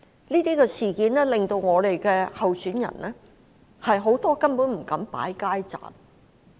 這些事件令到我們有多位候選人根本不敢擺設街站。